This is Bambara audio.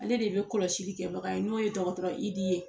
Ale de bɛ kɔlɔsili kɛbaga ye n'o ye dɔgɔtɔrɔ Idi ye.